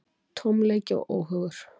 Tómleiki og óhugur.